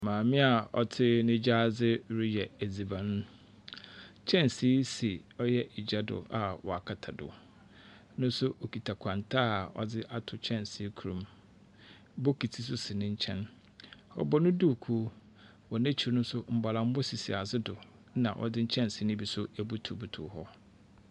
Maame a ɔte ne gyaadze reyɛ edziban. Kɛnsee si ɔyɛ gya do a wakata do. No nso okita kwanta a ɔdze ato kyɛnsee kor mu. Bokiti nso si ne nyɛn. Ɔbɔ ne duukuu. Wɔ n'ekyir no nso, mbɔlambɔ sisi adze do. Na wɔdze nkyɛnse no bi nso abutubutu hɔ.